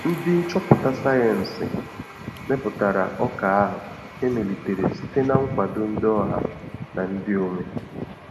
Ndị nchọpụta sayensị meputara ọka ahụ emelitere site na nkwado ndị ọha na ndị onwe